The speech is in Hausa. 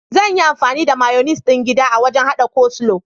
Zan yi amfani da mayunis ɗin gida a wajan haɗa coleslaw.